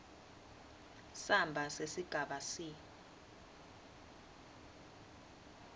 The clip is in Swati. samba sesigaba c